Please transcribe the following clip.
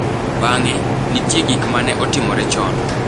Bang’e, nitie gik ma ne otimore chon.